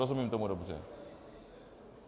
Rozumím tomu dobře?